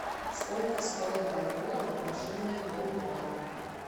сколько стоит бальбоа в отношении боливара